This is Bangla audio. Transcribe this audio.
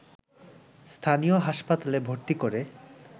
স্থানীয় হাসপাতালে ভর্তি করে